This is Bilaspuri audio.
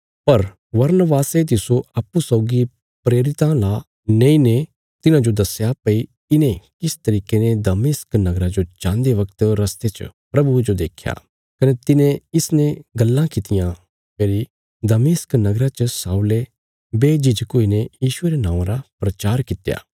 पर बरनबासे तिस्सो अप्पूँ सौगी प्रेरितां ला नेईने तिन्हांजो दस्या भई इने किस तरिके ने दमिश्क नगरा जो जान्दे वगत रस्ते च प्रभुये जो देख्या कने तिने इसने गल्लां कित्तियां फेरी दमिश्क नगरा च शाऊले बेझिझक हुईने यीशुये रे नौआं रा प्रचार कित्या